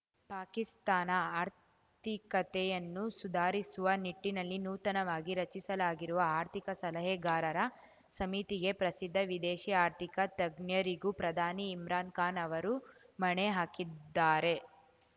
ಪಾಕಿಸ್ತಾನ ಆರ್ಥಿಕತೆಯನ್ನು ಸುಧಾರಿಸುವ ನಿಟ್ಟಿನಲ್ಲಿ ನೂತನವಾಗಿ ರಚಿಸಲಾಗಿರುವ ಆರ್ಥಿಕ ಸಲಹೆಗಾರರ ಸಮಿತಿಗೆ ಪ್ರಸಿದ್ಧ ವಿದೇಶಿ ಆರ್ಥಿಕ ತಜ್ಞರಿಗೂ ಪ್ರಧಾನಿ ಇಮ್ರಾನ್‌ ಖಾನ್‌ ಅವರು ಮಣೆ ಹಾಕಿದ್ದಾರೆ